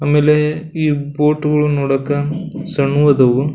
ಆಮೇಲೆ ಈ ಬೋಟ್ಗಳನ್ನು ನೋಡಾಕ ಸಣ್ಣ್ ಗದಾವು.